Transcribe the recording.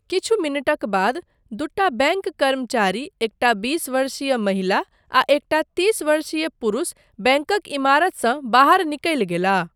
किछु मिनटक बाद, दूटा बैङ्क कर्मचारी, एकटा बीस वर्षीय महिला आ एकटा तीस वर्षीय पुरूष बैङ्कक इमारतसँ बाहर निकलि गेलनि।